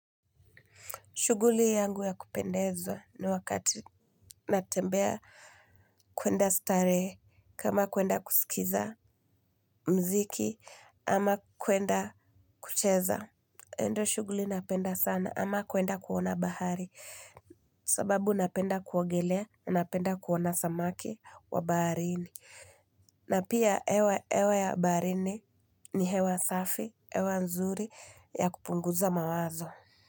Shuguli yangu ya kupendezwa ni wakati natembea kuenda starehe kama kuenda kusikiza mziki ama kuenda kucheza. Hio ndio shuguli napenda sana ama kuenda kuona bahari sababu napenda kuogelea napenda kuona samaki wa baharini. Na pia ewa ya barini ni hewa safi, ewa nzuri ya kupunguza mawazo.